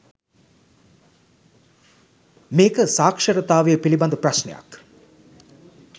මේක සාක්‍ෂෂරතාවය පිළිබද ප්‍රශ්නයක්